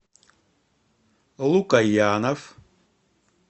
лукоянов